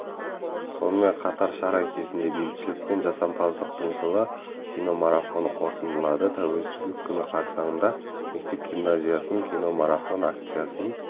сонымен қатар шара кезінде бейбітшілік пен жасампаздықтың жылы киномарафоны қорытындыланды тәуелсіздік күні қарсаңында мектеп-гимназиясы киномарафон акциясын